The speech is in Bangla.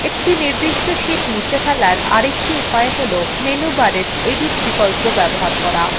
একটি নির্দিষ্ট sheet মুছে ফেলার আরেকটি উপায় হল menu bar edit বিকল্প bar করা